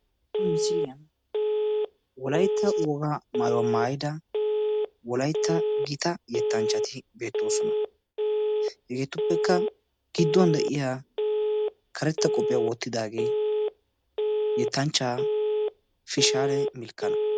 Ha misiliyan wolaytta wogaa maayuwaa maayida wolautta gita yettanchchati beettoosona. Hegeetuppekka gidduwan de'iyaa karetta qophiyaa wottidaage yettenchchaa Fishshaale Milkkana.